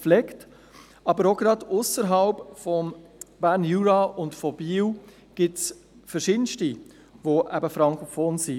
Gleichzeitig gibt es auch ausserhalb des Berner Juras und Biels zahlreiche frankophone Leute.